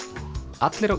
allir á